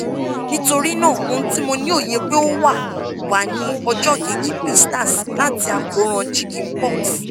nitorinaa ohun ti mo ni oye pe o wa wa ni ọjọ keji blisters lati akoran chicken-pox